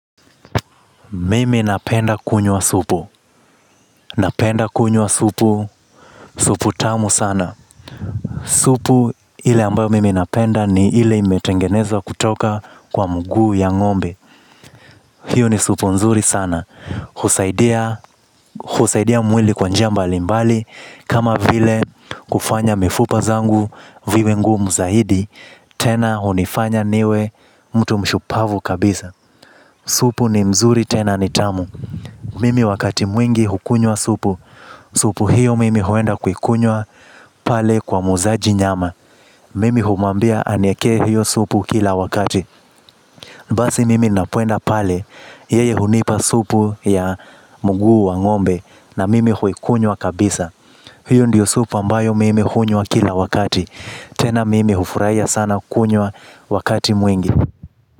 Mimi napenda kunywa supu napenda kunywa supu. Supu tamu sana. Supu ile ambayo mimi napenda ni ile imetengenezwa kutoka kwa mguu ya ng'ombe. Hiyo ni supu nzuri sana husaidia mwili kwa njia mbalimbali. Kama vile kufanya mifupa zangu viwe ngumu zaidi tena hunifanya niwe mtu mshupavu kabisa supu ni mzuri tena ni tamu. Mimi wakati mwingi hukunywa supu. Supu hiyo mimi huenda kuikunywa pale kwa muuzaji nyama. Mimi humwambia aniekee hiyo supu kila wakati basi mimi ninapoenda pale yeye hunipa supu ya mguu wang'ombe na mimi huikunywa kabisa. Hiyo ndiyo supu ambayo mimi hunywa kila wakati tena mimi hufurahia sana kunywa wakati mwingi.